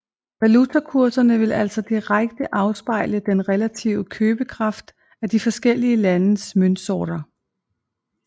Valutakurserne vil altså direkte afspejle den relative købekraft af de forskellige landes møntsorter